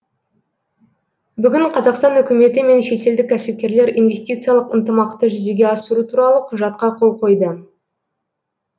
бүгін қазақстан үкіметі мен шетелдік кәсіпкерлер инвестициялық ынтымақты жүзеге асыру туралы құжатқа қол қойды